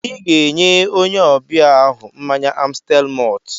Ị ga-enye onye ọbịa ahụ mmanya Amstel mọlt